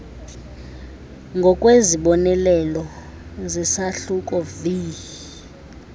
ngokwezibonelelo zesahluko viii